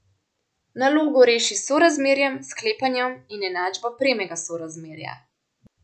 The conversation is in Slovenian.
Nalogo reši s sorazmerjem, sklepanjem in enačbo premega sorazmerja.